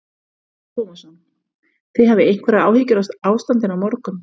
Telma Tómasson: Þið hafið einhverjar áhyggjur af ástandinu á morgun?